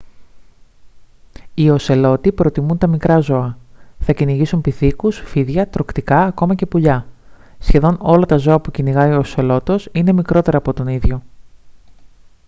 οι οσελότοι προτιμούν τα μικρά ζώα θα κυνηγήσουν πιθήκους φίδια τρωκτικά ακόμα και πουλιά σχεδόν όλα τα ζώα που κυνηγάει ο οσελότος είναι μικρότερα από τον ίδιο